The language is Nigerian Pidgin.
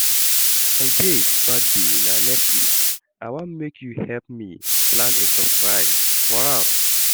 My babe birthday na next week, I wan make you help me plan a surprise for am